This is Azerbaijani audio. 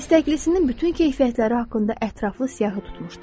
İstəkliisinin bütün keyfiyyətləri haqqında ətraflı siyahı tutmuşdu.